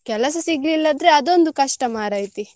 ಕೆಲಸ ಸಿಗಲಿಲ್ಲದ್ರೆ ಅದೊಂದು ಕಷ್ಟ ಮಾರೈತಿ.